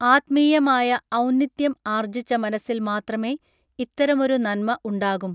ആത്മീയമായ ഔന്നിത്യം ആർജ്ജിച്ച മനസ്സിൽ മാത്രമേ ഇത്തരമൊരു നൻമ ഉണ്ടാകും